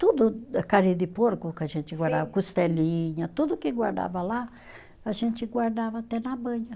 Tudo, carne de porco que a gente guardava, costelinha, tudo que guardava lá, a gente guardava até na banha.